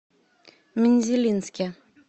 мензелинске